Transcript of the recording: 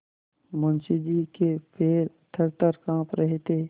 मुंशी जी के पैर थरथर कॉँप रहे थे